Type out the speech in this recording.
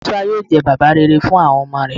Musa yoo jẹ baba rere fun awọn ọmọ rẹ